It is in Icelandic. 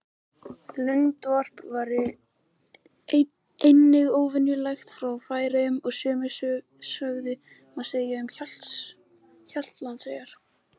Lundavarp var einnig óvenju lélegt í Færeyjum og sömu sögu má segja um Hjaltlandseyjar.